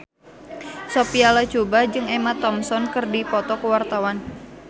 Sophia Latjuba jeung Emma Thompson keur dipoto ku wartawan